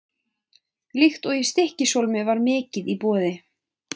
Líkt og í Stykkishólmi var mikið í boði.